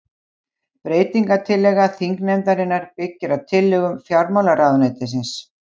Breytingartillaga þingnefndarinnar byggir á tillögum fjármálaráðuneytisins